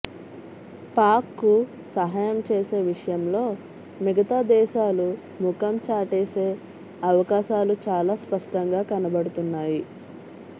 పాక్కు సహాయం చేసే విషయంలో మిగతా దేశాలు ముఖం చాటేసే అవకాశాలు చాలా స్పష్టంగా కనపడుతున్నాయి